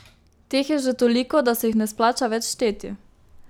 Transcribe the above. Teh je že toliko, da se jih ne splača več šteti.